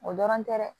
O dɔrɔn tɛ dɛ